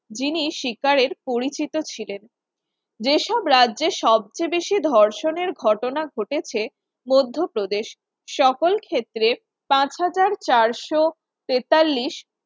যিনি শিকারের পরিচিত ছিলেন। যে সব রাজ্যে সবচেয়ে বেশি ধর্ষণের ঘটনা ঘটেছে মধ্যপ্রদেশ সকল ক্ষেত্রে পাঁচ হাজার চারশ তেতাল্লিশ